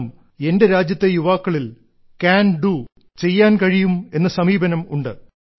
കാരണം എന്റെ രാജ്യത്തെ യുവാക്കളിൽ കാൻ ഡോ ചെയ്യാൻ കഴിയും എന്ന സമീപനം ഉണ്ട്